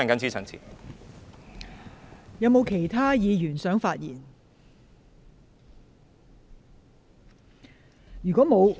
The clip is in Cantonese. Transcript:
是否有其他議員想發言？